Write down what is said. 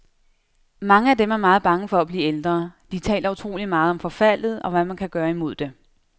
Mange af dem er meget bange for at blive ældre, de taler utroligt meget om forfaldet, og hvad man kan gøre imod det.